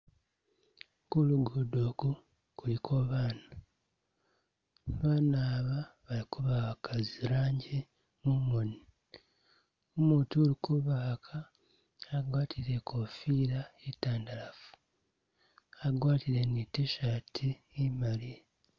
Ku lugudo uku kuliko bana. Bana aba baliko bahaka zilangi mumoni. Umutu uli ku bahaka agwatile i'kofila itandalafu, agwatile ni i'T-shirt imali.